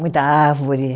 Muita árvore.